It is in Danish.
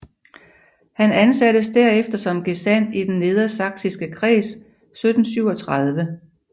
Han ansattes derefter som gesandt i den Nedersachsiske Kreds 1737